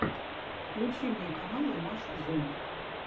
включи мне каналы маши зум